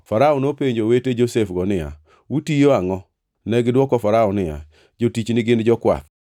Farao nopenjo owete Josef-go niya, “Utiyo angʼo?” Negidwoko Farao niya, “Jotichgi gin jokwath.”